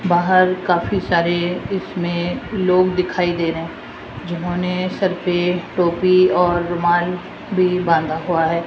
काफी सारे इसमें लोग दिखाई दे रहे है जिन्होंने सर पे टोपी और रुमाल भी बांधा हुआ है।